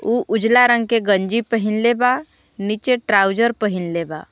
ऊ उजाला रंग के गंजी पहिनलें बा नीचे ट्राउजर पहिनाले बा।